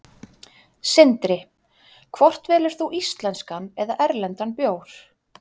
Sindri: Hvort velur þú íslenskan eða erlendan bjór?